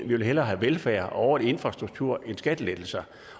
vil have velfærd og infrastruktur end skattelettelser